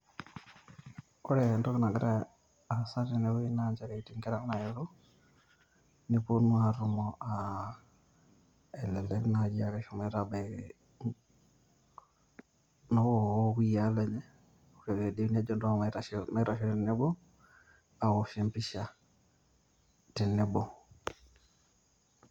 Ore entoki nagira aasa tene wueji naa nchereeni etii nkera naayetuo pee eponu aatumo aa elelek naaji aa keshomo abaiki noo kakuyia lenye. Ore pee idim nejo entosho maitasho tenebo aawosh e mpisha tenebo.